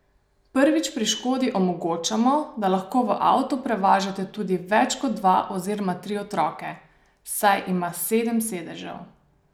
Prvič pri Škodi omogočamo, da lahko v avtu prevažate tudi več kot dva oziroma tri otroke, saj ima sedem sedežev.